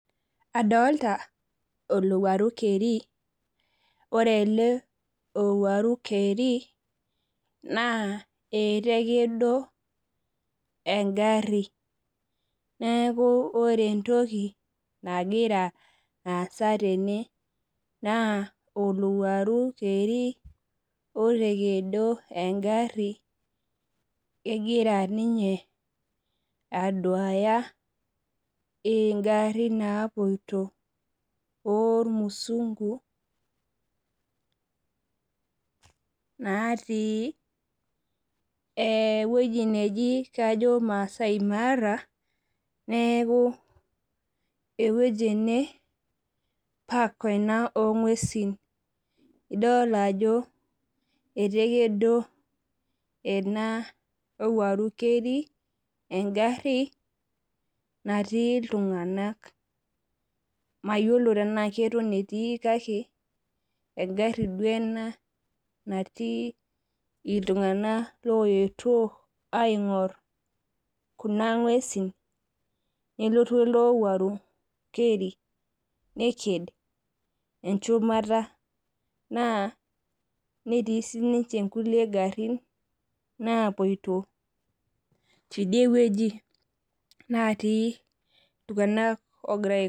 Adolita olowuaru keri, ore ele owuaru keri naa etakedo engari. Neeku ore entoki nagira aasa tene naa olowuaru keri otakedo engari egira ninye aduaya ngarin naapoito irmusunku naati eweji nejia kajo maasai mara neeku eweji ene park ena ogwesin idol ajo etekedo ena owuaru keri engari natii iltunganak. Mayiolo tena keton etii kake engari duo ena natii iltunganak oyetuo aingor kuna ngwesin nelotu ele owuaru keri neked enchumata naa netii siininche nkulie garin naapoito tidieweji naati iltunganak.